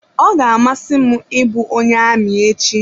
Ọ ga-amasị m ị bụ onye amị echi.